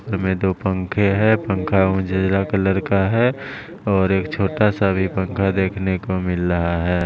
में दो पंखे है पंखा उजला कलर का है और एक छोटा सा भी पंखा देखने को मिल रहा है।